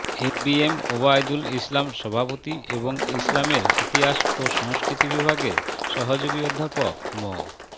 এ B M Obaidul Islam সভাপতি এবং ইসলামের ইতিহাস ও সংস্কৃতি বিভাগের সহযোগী অধ্যাপক মো